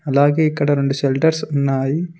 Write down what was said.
అలాగే ఇక్కడ రొండు షెల్టర్స్ ఉన్నాయి.